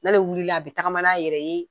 N'ale wulila a bi tagama n'a yɛrɛ ye